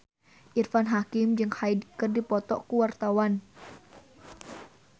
Irfan Hakim jeung Hyde keur dipoto ku wartawan